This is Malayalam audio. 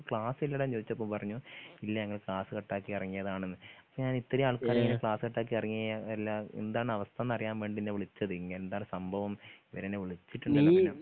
ക്ലാസ്സില്ലെടാന്ന് ചോയിച്ചപ്പോ പറഞ്ഞു ഇല്ല ഞങ്ങൾ ക്ലാസ് കട്ടാക്കി എറങ്ങിയതാണെന്ന് അപ്പൊ ഞാനിത്രീ ആൾക്കാരെങ്ങനെ ക്ലാസ് കട്ടാക്കി എറങ്ങിയേ എല്ലാ എന്താണാവസ്ഥന്നറിയാൻ വേണ്ടി നിന്നെ വിളിച്ചത് ഇങ്ങെന്താണ് സംഭവം ഇവരെന്നെ വിളിച്ച്‌ട്ട്ണ്ടായിന്നു